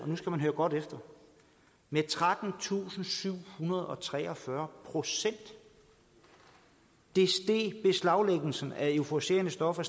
og nu skal man høre godt efter med trettentusinde og syvhundrede og treogfyrre procent det steg beslaglæggelsen af euforiserende stoffer